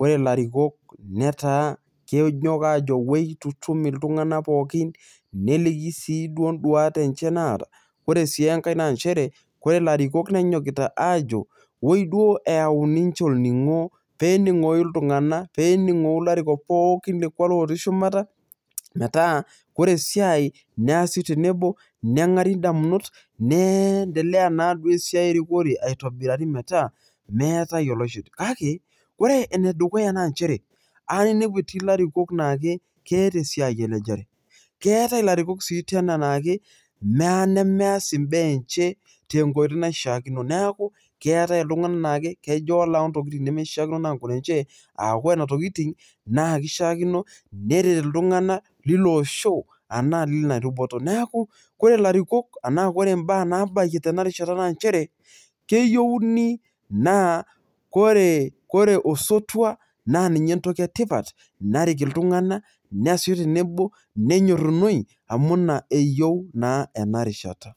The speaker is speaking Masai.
ore ilarikok netaa kejo oitutum iltunganak pookin. neliki siiduo duat enye naata, ore sii enkae naa nchere ore larikok nenyokita aajo oi duo eyau ninche olningo, pee eningokinoi ajo, pee eningoi iltunganak, pee eningoi ilarikok pooki otii shumata, metaa ore esiai neasi tenebo, nenari damunot, neendelea naaduo esiai erikore aitobirari metaa olloiship. kake ore ene dukuya naa nchere, eya ninepu etii ilarikok naa keeta esiai enche, keetae, ilarikok sii tena naa mees imbaa enche, tenkoitoi naishakino, neeku keetae iltunganak naa kejo ore ntokitin naishaakino orkuaak lenche.aa ore nena tokitin, na kishaakino neret iltungana llilo osho anaa lina luboto. neeku ore larikok enaa ore baa naabayie tena rishata naa nchere, keyieuni naa kore osotua naa ninye ninye entoki etipat narik iltungana, neesishoe tenebo, nenyorunoi, amu ina eyieu naa ena rishata.